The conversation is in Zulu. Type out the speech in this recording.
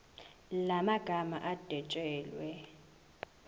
la magama adwetshelwe